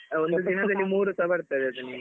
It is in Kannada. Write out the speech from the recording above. ಒಂದು ದಿನದಲ್ಲಿ ನಿಮ್ಗೆ ಒಂದು ದಿನದಲ್ಲಿ ಮೂರುಸ ಬರ್ತದೆ ನಿಮ್ಗೆ.